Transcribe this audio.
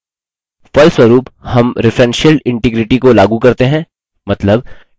फलस्वरूप हम referential integrity को लागू करते हैं